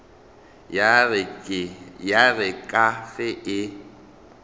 ya re ka ge e